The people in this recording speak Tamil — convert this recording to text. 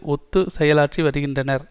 ஒத்துச் செயலாற்றி வருகின்றனர்